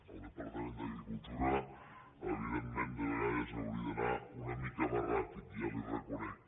el departament d’agricultura evidentment de vegades hauria d’anar una mica més ràpid ja li ho re conec